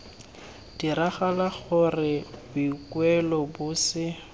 diragala gore boikuelo bo se